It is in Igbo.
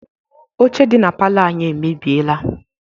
Ọche dị na palọ anyị emebieela.